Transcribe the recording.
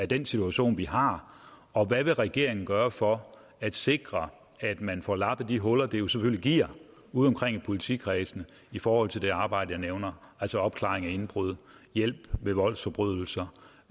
den situation vi har og hvad vil regeringen gøre for at sikre at man får lappet de huller det jo selvfølgelig giver udeomkring i politikredsene i forhold til det arbejde jeg nævner altså opklaring af indbrud hjælp ved voldsforbrydelser